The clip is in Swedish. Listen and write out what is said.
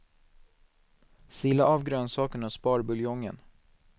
Sila av grönsakerna och spar buljongen.